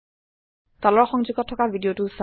তলৰ সংযোগত থকা ভিদিয়তো চাওক